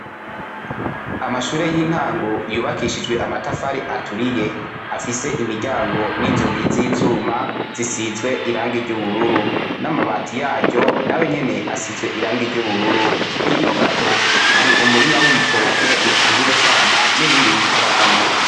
Amashure y'intango yubakishijwe amatafari aturiye afise imiryango n'inzugi z'ivyuma zisizwe iranga iryo ubururu n'amabati yajo nawe nyene asizwe iranga iryo ubururu hino gato hari umurima w'ibitoke bitanguye kwama n'ibindi bitarama.